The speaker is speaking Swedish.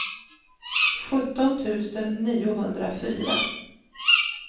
sjutton tusen niohundrafyra